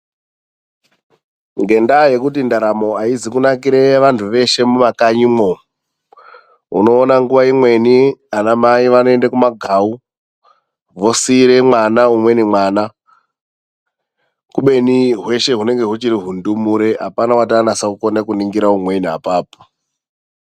Ngendaa yekuti ndaramo aizi kunakire vanthu veshe mumakanyimwo. Unoona nguwa imweni anamai vanoenda kumagawu. Vosiire mwana umweni mwana. Kubeni hweshe hunenge huchiri hundumure apana wati anase kukona kuningira umweni apapo.